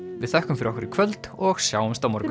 við þökkum fyrir okkur í kvöld og sjáumst á morgun